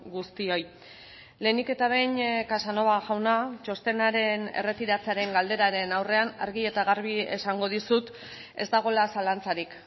guztioi lehenik eta behin casanova jauna txostenaren erretiratzearen galderaren aurrean argi eta garbi esango dizut ez dagoela zalantzarik